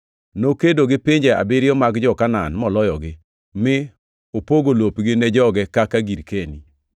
Nokedo gi pinje abiriyo mag jo-Kanaan moloyogi, mi opogo lopgi ni joge kaka girkeni.